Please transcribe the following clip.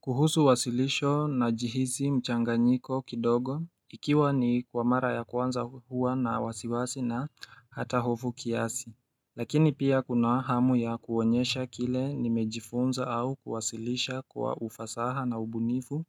Kuhusu uwasilisho na jihisi mchanga nyiko kidogo ikiwa ni kwa mara ya kwanza huwa na wasiwasi na hata hofu kiasi Lakini pia kuna hamu ya kuonyesha kile ni mejifunza au kuwasilisha kwa ufasaha na ubunifu